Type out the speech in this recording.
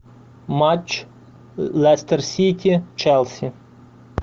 матч лестер сити челси